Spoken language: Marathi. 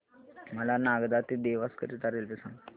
मला नागदा ते देवास करीता रेल्वे सांगा